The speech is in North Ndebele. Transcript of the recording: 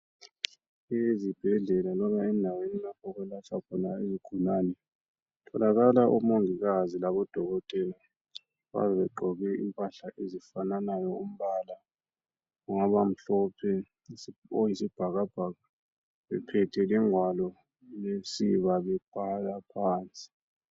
Ezibhedlela loba endaweni lapho okwelatshwa khona izigulane kutholakala omongikazi labodokotela. Bayabe begqoke impahla ezifananayo umbala, ungaba mhlophe, oyisibhakabhaka bephethe lengwalo lensiba bebhala phansi.